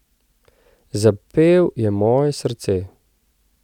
Zapel je moje srce.